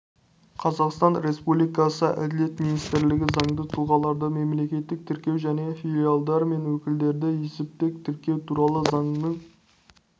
қазақстан республикасы әділет министрлігі заңды тұлғаларды мемлекеттік тіркеу және филиалдар мен өкілдіктерді есептік тіркеу туралы заңының